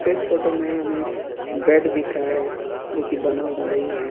इस फोटो में हमें एक बेड दिख रहा है जो की बना हुआ नहीं है।